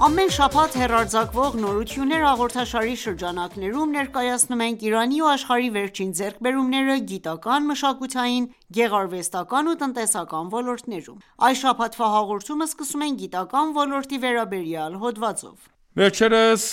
Ամեն շաբաթ հեռարձակվող «Նորություններ» հաղորդաշարի շրջանակներում, ներկայացնում ենք Իրանի ու աշխարհի վերջին ձեռքբերումները՝գիտական, մշակութային, գեղարվեստական ու տնտեսական ոլորտներում: Այս շաբաթվա հաղորդումը սկսում ենք գիտական ոլորտի վերաբերյալ հոդվածով: Վերջերս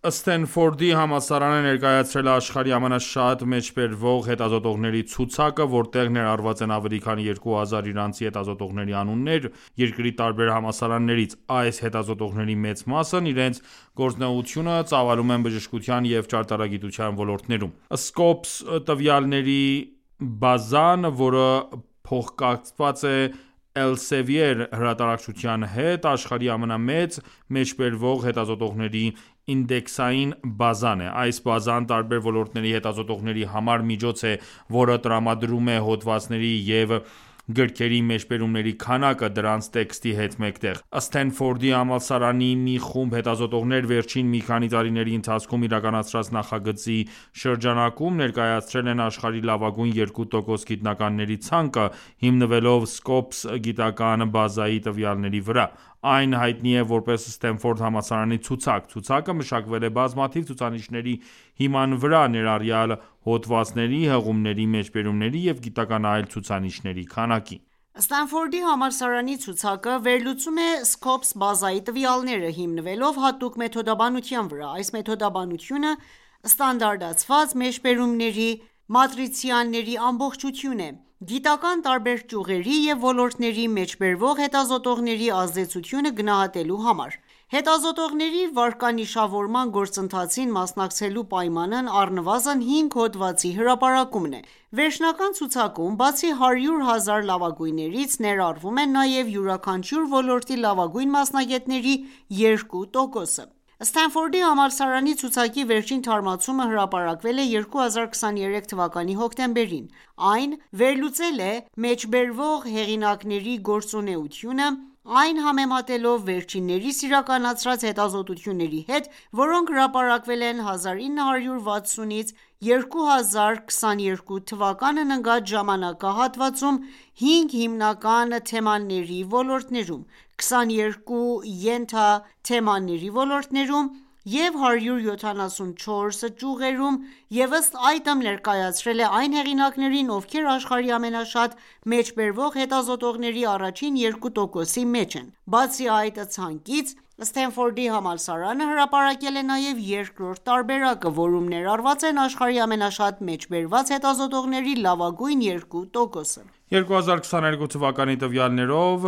Սթենֆորդի համալսարանը ներկայացրել է աշխարհի ամենաշատ մեջբերվող հետազոտողների ցուցակը, որտեղ ներառված են ավելի քան երկու հազար իրանցի հետազոտողների անուններ՝ երկրի տարբեր համալսարաններից: Այս հետազոտողների մեծ մասն իրենց գործունեությունը ծավալում են բժշկության և ճարտարագիտության ոլորտներում: Scopus տվյալների բազան, որը փոխկապակցված է Elsevier հրատարակչության հետ, աշխարհի ամենամեծ՝ մեջբերվող հետազոտողների ինդեքսային բազան է: Այս բազան տարբեր ոլորտների հետազոտողների համար միջոց է, որը տրամադրում է հոդվածների և գրքերի մեջբերումների քանակը՝ դրանց տեքստի հետ մեկտեղ։ Սթենֆորդի համալսարանի մի խումբ հետազոտողներ, վերջին մի քանի տարիների ընթացքում իրականացրած նախագծի շրջանակում ներկայացրել են աշխարհի լավագույն երկու տոկոս գիտնականների ցանկը՝ հիմնվելով Scopus գիտական բազայի տվյալների վրա: Այն հայտնի է որպես «Սթենֆորդ Համալսարանի ցուցակ»: Ցուցակը մշակվել է բազմաթիվ ցուցանիշների հիման վրա, ներառյալ՝ հոդվածների, հղումների, մեջբերումների և գիտական այլ ցուցանիշների քանակի: Ստենֆորդի համալսարանի ցուցակը վերլուծում է Scopus բազայի տվյալները, հիմնվելով հատուկ մեթոդաբանության վրա: Այս մեթոդաբանությունը ստանդարտացված մեջբերումների մատրիցաների ամբողջություն է՝ գիտական տարբեր ճյուղերի և ոլորտների մեջբերվող հետազոտողների ազդեցությունը գնահատելու համար: Հետազոտողների վարկանիշավորման գործընթացին մասնակցելու պայմանն առնվազն հինգ հոդվածի հրապարակումն է: Վերջնական ցուցակում, բացի 100 ահզար լավագույններից, ներառվում են նաև յուրաքանչյուր ոլորտի լավագույն մասնագետների երկու տոկոսը: Սթենֆորդի համալսարանի ցուցակի վերջին թարմացումը հրապարակվել է 2023 թվականի հոկտեմբերին։ Այն վերլուծել է մեջբերվող հեղինակների գործունեությունը, այն համեմատելով վերջիններիս իրականացրած հետազոտությունների հետ, որոնք հրապարակվել են 1960-ից մինչև 2022 թվականն ընկած ժամանակահատվածում՝ հինգ հիմնական թեմաների ոլորտներում, 22 ենթաթեմաների ոլորտներում և 174 ճյուղերում, և ըստ այդմ ներկայացրել է այն հեղինակներին, ովքեր աշխարհի ամենաշատ մեջբերվող հետազոտողների առաջին երկու տոկոսի մեջ են։ Բացի այդ ցանկից, Սթենֆորդի համալսարանը հրապարակել է նաև երկրորդ տարբերակը, որում ներառված են աշխարհի ամենաշատ մեջբերված հետազոտողների լավագույն երկու տոկոսը: 2022 թվականի տվյալներով՝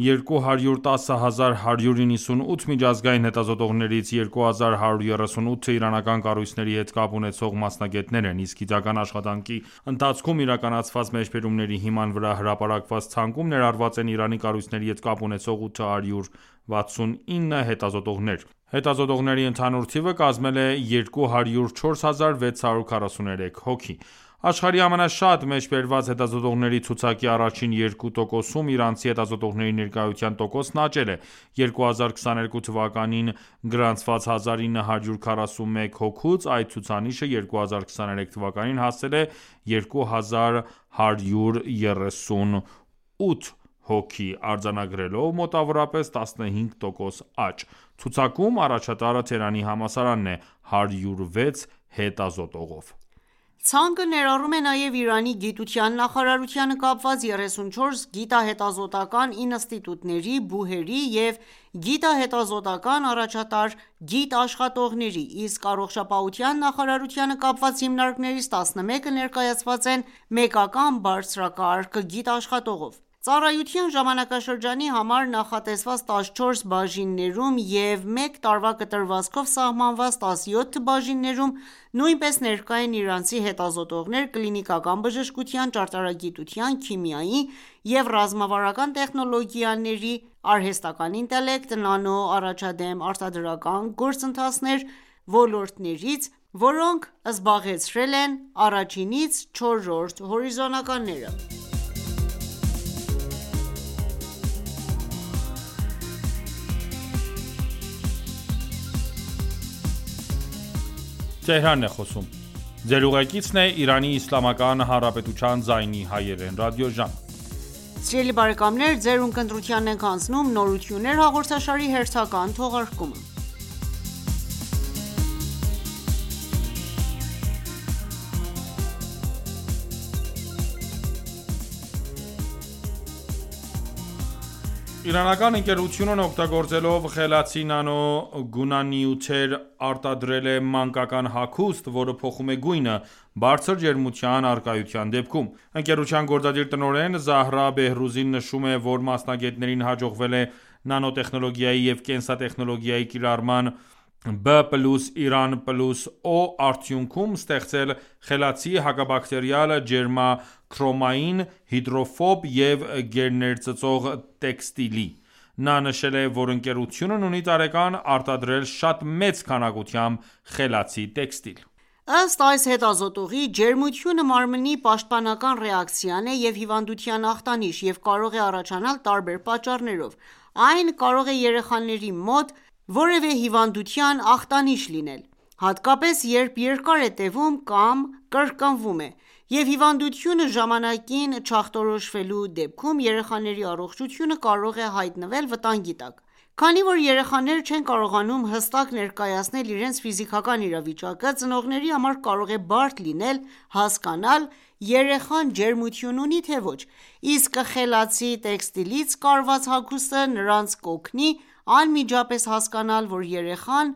210198 միջազգային հետազոտողներից 2138-ը իրանական կառույցների հետ կապ ունեցող մասնագետներ են: Իսկ գիտական աշխատանքի ընթացքում իրականացված մեջբերումների հիման վրա հրապարակված ցանկում ներառված են Իրանի կառույցների հետ կապ ունեցող 869 հետազոտողներ: ԸՀետազոտողների ընդհանուր թիվը կազմել է 204643 հոգի: Աշխարհի ամենաշատ մեջբերված հետազոտողների ցուցակի առաջին երկու տոկոսում իրանցի հետազոտողների ներկայության տոկոսն աճել է: 2022 թվականին գրանցված 1941 հոգուց, այդ ցուցանիշը 2023 թվականին հասել է 2 հազար 138 հոգու, արձանագրելով մոտավորապես 15 տոկոս աճ: Ցուցակում առաջատարը Թեհրանի համալսարանն է՝ 106 հետազոտողով: Ցանկը ներառում է նաև Իրանի գիտության նախարարությանը կապված 34 գիտահետազոտական ինստիտուտների, ԲՈՒՀ-երի և գիտահետազոտական առաջատար գիտաշխատողների Իսկ Առողջապահության նախարարությանը կապված հիմնարկներից 11-ը ներկայացված են մեկական բարձրակարգ գիտաշխատողով։ Ծառայության ժամանակաշրջանի համար նախատեսված 14 բաժիններում և մեկ տարվա կտրվածքով սահմանված 17 բաժիններում նույնպես ներկա են իրանցի հետազոտողներ՝ կլինիկական բժշկության, ճարտարագիտության, քիմիայի և ռազմավարական տեխնոլոգիաների (արհեստական ինտելեկտ, նանո, առաջադեմ արտադրական գործընթացներ) ոլորտներից, որոնք զբաղեցրել են 1-4-րդ հորիզոնականները: Տեխնոլոգիական ոլորտի հերթական նվաճումը Իրանական ընկերությունն օգտագործելով խելացի նանո-գունանյութեր, արտադրել է մանկական հագուստ, որը փոխում է գույնը՝ բարձր ջերմության առկայության դեպքում։ Ընկերության գործադիր տնօրեն Զահրա Բեհռուզին նշում է, որ մասնագետներին հաջողվել է նանոտեխնոլոգիայի և կենսատեխնոլոգիայի կիրառման «B + Iran + O» արդյունքում ստեղծել խելացի՝ հակաբակտերիալ, ջերմաքրոմային, հիդրոֆոբ և գերներծծող տեքստիլի: նա նշել է, որ ընկերությունն ունի տարեկան արտադրել շատ մեծ քանակությամբ խելացի տեքստիլ: Ըստ այս հետազոտողի՝ ջերմությունը մարմնի պաշտպանական ռեակցիան է և հիվանդության ախտանիշ, և կարող է առաջանալ տարբեր պատճառներով։ Այն կարող է երեխաների մոտ կարող է որևէ հիվանդության ախտանիշ լինել, հատկապես երբ երկար է տևում կամ կրկնվում է: Եվ հիվանդությունը ժամանակին չախտորոշվելու դեպքում երեխաների առողջությունը կարող է հայտնվել վտանգի տակ: Քանի որ երեխաները չեն կարողանում հստակ ներկայացնել իրենց ֆիզիկական իրավիճակը, ծնողների համար կարող է բարդ լինել՝ հասկանալ երեխան ջերմություն ունի՞ թե ոչ: Իսկ խելացի տեքստիլից կարված հագուստը նրանց կօգնի անմիջապես հասկանալ, որ երեխան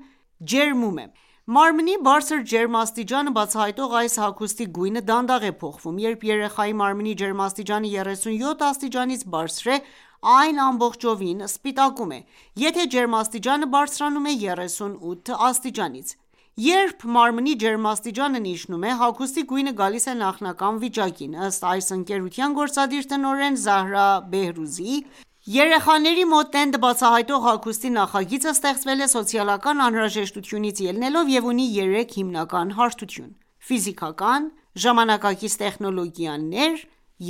ջերմում է: Մարմնի բարձր ջերմաստիճանը բացահայտող այս հագուստի գույնը դանդաղ է փոխվում, երբ երեխայի մարմնի ջերմաստիճանը 37 աստիճանից բարձր է: Այն ամբողջովին սպիտակում է, եթե ջերմաստիճանը բարձրանում է 38 աստիճանից: Երբ մարմնի ջերմաստիճանն իջնում է, հագուստի գույնը գալիս է նախնական վիճակին: Ըստ այս ընկերության գործադիր տնօրեն Զահրա Բեհռուզիի, երեխաների մոտ տենդը բացահայտող հագուստի նախագիծը ստեղծվել է սոցիալական անհրաժեշտությունից ելնելով և ունի 3 հիմնական հարթություն՝ ֆիզիկական, ժամանակակից տեխնոլոգիաների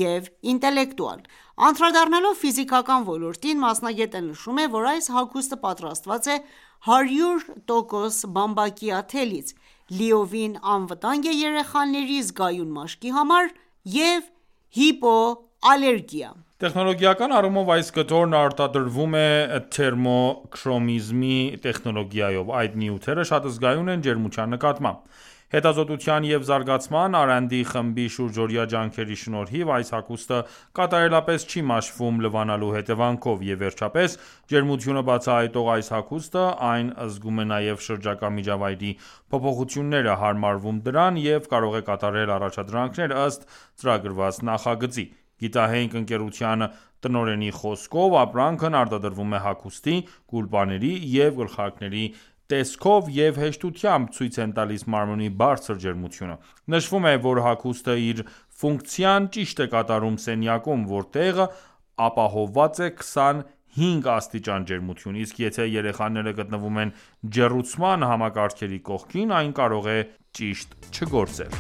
և ինտելեկտուալ: Անդրադառնալով ֆիզիկական ոլորտին, մասնագետը նշում է, որ այս հագուսը պատրաստված է 100% բամբակյա թելից, լիովին անվտանգ է երեխաների զգայուն մաշկի համար և հիպոալերգիկ: Տեխնոլոգիական առումով այս կտորն արտադրվում է թերմոքրոմիզմի տեխնոլոգիայով։ Այդ նյութերը շատ զգայուն են ջերմության նկատմամբ։ Հետազոտության և զարգացման (R&D) խմբի շուրջօրյա ջանքերի շնորհիվ այս հագուստը կատարելապես չի մաշվում լվանալու հետևանքով: Եվ վերջապես, ջերմությունը բացահայտող այս հագուստը այն զգում է նաև շրջակա միջավայրի փոփոխությունները, հարմարվում դրան, և կարող է կատարել առաջադրանքներ՝ ըստ ծրագրված նախագծի: Գիտահենք ընկերության տնօրենի խոսքով, ապրանքն արտադրվում հագուստի, գուլպաների և գլխարկների տեսքով և հեշտությամբ ցույց են տալիս մարմնի բարձր ջերմությունը։ Նշվում է, որ հագուստը իր ֆունկցիան ճիշտ է կատարում սենյակում, որտեղ ապահովված է 25 աստիճան ջերմություն, իսկ եթե երեխաները գտնվում են ջեռուցման համակարգերի կողքին, այն կարող է ճիշտ չգործել: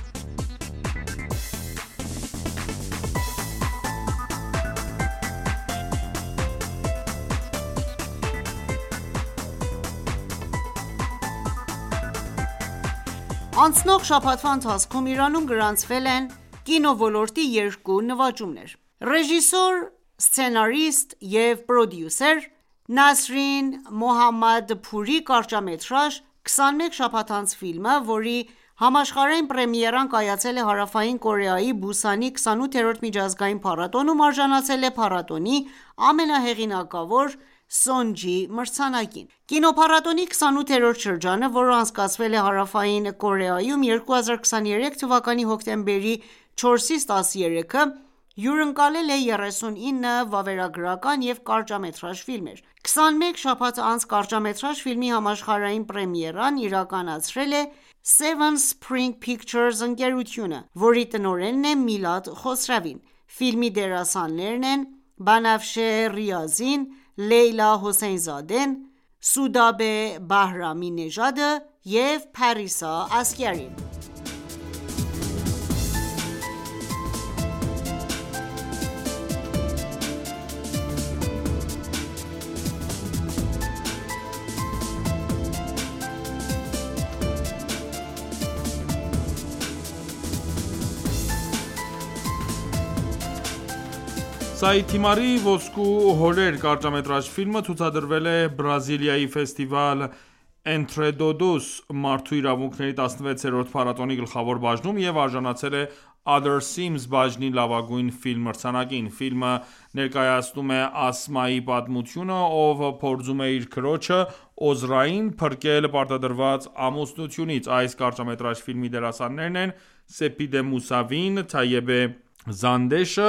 Անցնող շաբաթվա ընթացքում Իրանում գրանցվել են կինոլորոտի երկու նվաճումներ։ Ռեժիսոր, սցենարիստ և պրոդյուսեր Նասրին Մոհամմադփուրի կարճամետրաժ «Քսանմեկ շաբաթ անց» ֆիլմը, որի համաշխարհային պրեմիերան կայացել է Հարավային Կորեայի Բուսանի 28-րդ միջազգային փառատոնում, արժանացել է փառատոնի ամենահեղինակավոր՝ Sonje մրցանակին: Կինոփառատոնի 28-րդ շրջանը, որն անցկացվել է Հարավային Կորեայում 2023 թվականի հոկտեմբերի 4-ից 13-ը, հյուրընկալել է 39 վավերագրական և կարճամետրաժ ֆիլմեր: «Քսանմեկ շաբաթ անց» կարճամետրաժ ֆիլմի համաշխարհային պրեմիերան իրականացրել է SEVEN SPRINGS PICTURES ընկերությունը, որի տնորենն է Միլադ Խոսրավին: դերասաններն են Բանաֆշե Ռիազին, Լեյլա Հոսեյնզադեն, Սուդաբե Բահրամի նեժադը և Փարիսա Ասգարին։ Նաև Սաիդ Թիմարի «Ոսկու հորեր» կարճամետրաժ ֆիլմը ցուցադրվել է Բրազիլիայի Festival Entretodos մարդու իրավունքների 16-րդ փառատոնի գլխավոր բաժնում և արժանացել Other Seams բաժնի «Լավագույն ֆիլմ» մրցանակին։ Ֆիլմը նեկայացնում է Ասմայի պատմությունը, ով փորձում է իր քրոջը՝ Օզրային, փրկել պարտադրված ամուսնությունից: Այս կարճամետրաժ ֆիլմի դերասաններն են՝ Սեփիդե Մուսավին, Թայեբե Զանդեշը,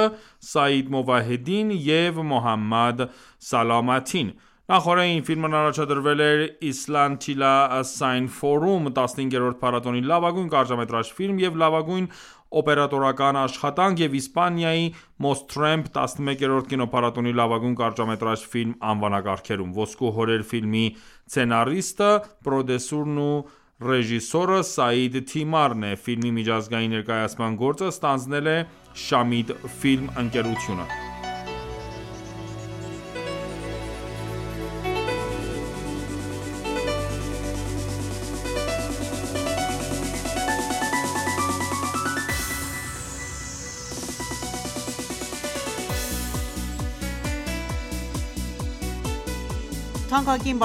Սաիդ Մովահեդին և Մոհամմադ Սալամաթին: Նախօրեին ֆիլմն առաջադրվել էր Islantilla Cine Forum 15-րդ փառատոնի «Լավագույն կարճամետրաժ ֆիլմ» և «Լավագույն օպերատորական աշխատանք» և Իսպանիայի Mostremp 11-րդ կինոփառատոնի «Լավագույն կարճամետրաժ ֆիլմ» անվանակարգերում: «Ոսկու հորեր» ֆիլմի սցենարիստը, պրոդյուսերն ու ռեժիսորը Սայիդ Թիմարն է: Ֆիլմի միջազգային ներկայացման գործը ստանձնել է Shamid Film ընկերությունը։ Թանկագին